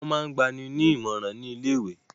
Wọ́n máa gba ni ní ìmọ̀ràn ni ilé ìwé.